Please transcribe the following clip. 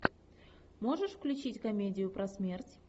можешь включить комедию про смерть